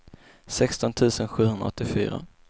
sexton tusen sjuhundraåttiofyra